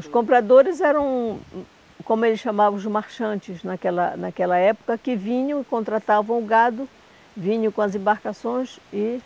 Os compradores eram hum, como eles chamavam os marchantes naquela naquela época, que vinham, contratavam o gado, vinham com as embarcações e